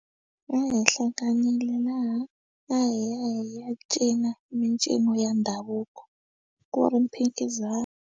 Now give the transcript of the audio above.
Ehenhla laha ya hi ya hi ya cina mincino ya ndhavuko ku ri mphikizano.